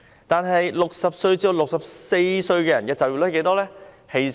但是 ，60 至64歲人士的就業率有多少？